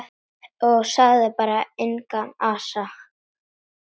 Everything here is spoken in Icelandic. Og sagði bara: Engan asa.